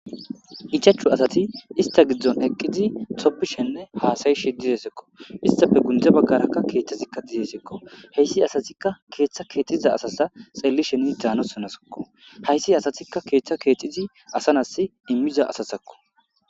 ichashu Asati ista Gidon Eqidi tobishene hasayishe Dizaysako istape gunde bagara Kethazika de'ezaysako Heysi asatika Ketha kexiza Asati Xellishe Hanazako haysi asatika Ketha kexida Asa nasi imiza Asatako